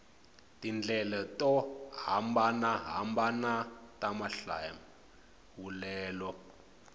tindlela to hambanahambana ta mahlawulelo